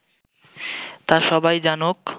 তা সবাই জানুক